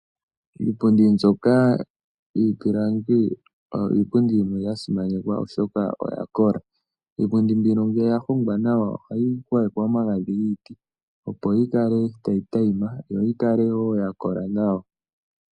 Iipundi mbyoka yiipilangi oyo iipundi yimwe ya simanekwa, oshoka oya kola. Iipundi mbino ngele ya hongwa nawa ohayi gwayekwa omagadhi giiti, opo yi kale tayi tayima yo yi kale wo ya kola nawa.